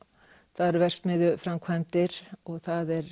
það eru verksmiðjuframkvæmdir og það er